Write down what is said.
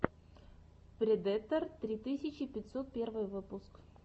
предэтор три тысячи пятьсот первый выпуск